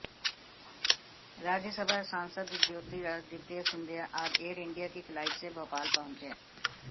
राज्यसभा सांसद ज्योतिरादित्य सिंधिया आज Air India की फ्लाइट से भोपाल पहुंचे